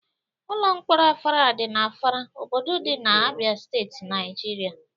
Ụlọ mkpọrọ Afara dị na Afara, obodo dị na Abia Steeti, Naijiria.